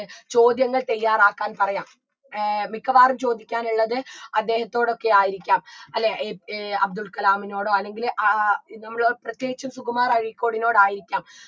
ചോദ്യങ്ങൾ തയ്യാറാക്കാൻ പറയാം ഏർ മിക്കവാറും ചോദിക്കാൻ ഉള്ളത് അദ്ദേഹത്തോടൊക്കെ ആയിരിക്കാം അല്ലെ ഏർ അബ്ദുൽ കലാമിനോടോ അല്ലെങ്കിൽ ആ നമ്മള് പ്രത്യേകിച്ച് സുകുമാർ അഴീക്കോടിനോട് ആയിരിക്കാം